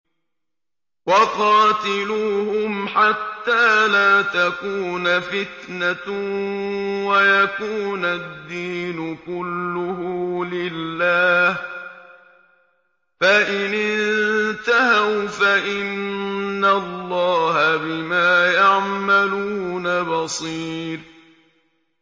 وَقَاتِلُوهُمْ حَتَّىٰ لَا تَكُونَ فِتْنَةٌ وَيَكُونَ الدِّينُ كُلُّهُ لِلَّهِ ۚ فَإِنِ انتَهَوْا فَإِنَّ اللَّهَ بِمَا يَعْمَلُونَ بَصِيرٌ